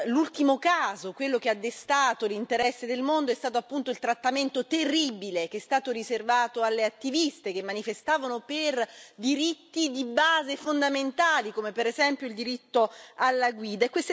L'ultimo caso, quello che ha destato l'interesse del mondo, è stato appunto il trattamento terribile che è stato riservato alle attiviste che manifestavano per diritti di base fondamentali, come per esempio il diritto alla guida.